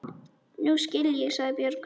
Nú skil ég, sagði Björg.